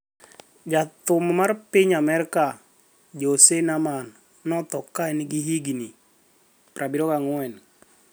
Ja thum mar piny Amerka Jessye Norman nothoo kane en gi higni 74